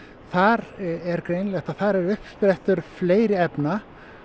þar er greinilegt að það eru uppsprettur fleiri efna